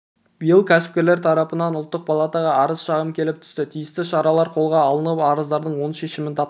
биыл кәсіпкерлер тарапынан ұлттық палатаға арыз-шағым келіп түсті тиісті шаралар қолға алынып арыздардың оң шешімін тапты